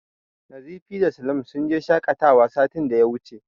Nazifi da Salim sun je shaƙatawa satin da ya wuce.